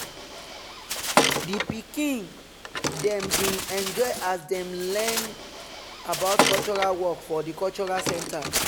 di pikin dem bin enjoy as them learn about cultural work for the cultural center.